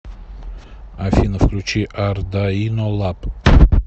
афина включи ардаино лаб